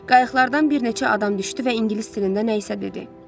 Qayıqlardan bir neçə adam düşdü və ingilis dilində nə isə dedi.